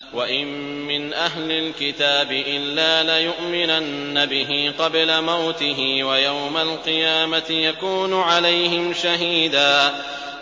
وَإِن مِّنْ أَهْلِ الْكِتَابِ إِلَّا لَيُؤْمِنَنَّ بِهِ قَبْلَ مَوْتِهِ ۖ وَيَوْمَ الْقِيَامَةِ يَكُونُ عَلَيْهِمْ شَهِيدًا